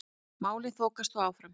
Málin þokist þó áfram.